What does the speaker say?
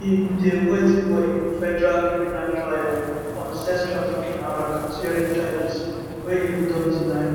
im dey wait for im federal criminal trial on sex trafficking and racketeering charges wey im don deny